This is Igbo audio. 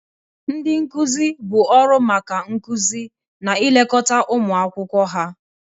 Ndị nkuzi bụ ọrụ maka nkuzi na ilekọta ụmụ akwụkwọ ha.